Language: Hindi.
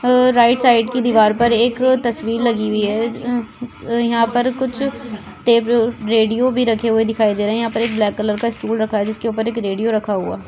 अ राइट साइड की दीवार पर एक तस्वीर लगी हुई है अ अ यहाँ पर कुछ टेब रेडियो भी रखे हुए दिखाई दे रहे है यहाँ पर एक ब्लैक कलर का स्टूल रखा है जिसके ऊपर एक रेडियो रखा हुआ।